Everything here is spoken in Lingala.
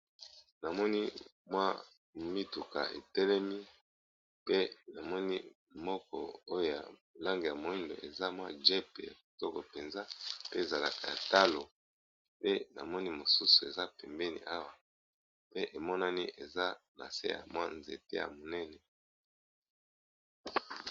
Namoni mwa mituka etelemi pe namoni moko oyoa lange ya moindo eza mwa jep ya kitoko mpenza pe ezalaka ya talo pe na moni mosusu eza pembeni awa pe emonani eza na se ya mwa nzete ya monene.